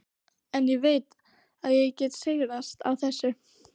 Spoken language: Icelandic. En ég veit að ég get sigrast á þessu.